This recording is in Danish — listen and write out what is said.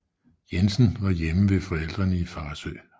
Jensen var hjemme ved forældrene i Farsø